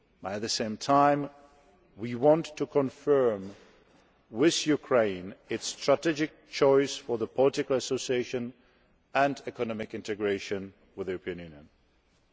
At the same time, we want to confirm with Ukraine its strategic choice for political association and economic integration with the European Union.